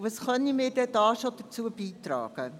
was könnten wir denn schon dazu beitragen?